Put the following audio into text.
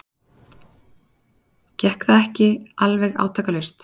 Gekk það ekki alveg átakalaust.